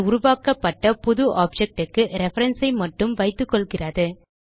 இது உருவாக்கப்பட்ட புது objectக்கு ரெஃபரன்ஸ் ஐ மட்டும் வைத்துக்கொள்கிறது